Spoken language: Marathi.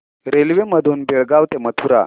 रेल्वे मधून बेळगाव ते मथुरा